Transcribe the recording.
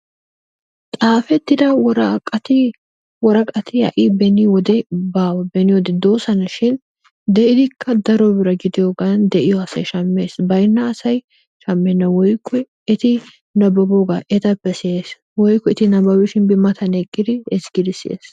xaafettida woraqati woraqati ha'i beni wode baawa. beni wode doosona. shin de'idikka daro bira gidiyogan de'iya basay shamees baynna asay eti nababoogaa etappe siyees woykko eti nababishin bi matan eqqidi ezgidi siyees.